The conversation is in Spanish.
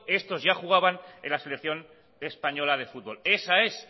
estos ya jugaban en la selección española de fútbol esa es